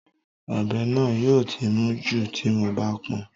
Ọ̀bẹ náà yóò ti mún jù tí mo bá pọn